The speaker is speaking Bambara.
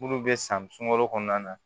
Munnu be san sunkalo kɔnɔna na